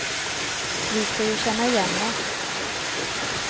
Vi ska ju känna igen oss.